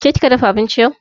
Ke kika dafa abinci yau?